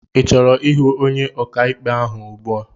I chọrọ ihụ ọnye ọkà ikpe ahụ ùgbúà?